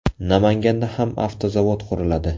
Namanganda ham avtozavod quriladi.